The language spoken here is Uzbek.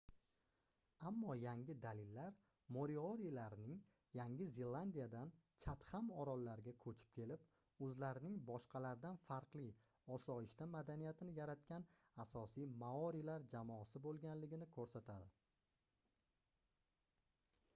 ammo yangi dalillar moriorilarning yangi zelandiyadan chatham orollariga koʻchib kelib oʻzlarining boshqalardan farqli osoyishta madaniyatini yaratgan asosiy maorilar jamosi boʻlganligini koʻrsatadi